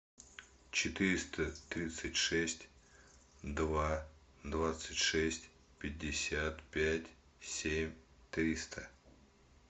четыреста тридцать шесть два двадцать шесть пятьдесят пять семь триста